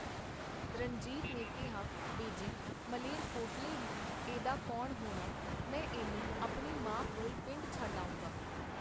ਰਣਜੀਤ ਨੇ ਕੀਹਾ, ਬੇਜੀ, ਮਲੇਰਕੋਟਲੇ ਵੀ ਇਹਦਾ ਕੌਣ ਹੋਣਾ? ਮੈਂ ਇਹਨੂੰ ਆਪਣੀ ਮਾਂ ਕੋਲ ਪਿੰਡ ਛੱਡ ਆਊਂਗਾ.